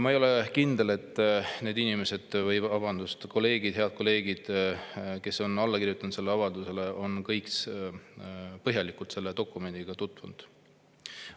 Ma ei ole kindel, et need inimesed, need head kolleegid, kes on alla kirjutanud sellele avaldusele, on kõik põhjalikult selle dokumendiga tutvunud.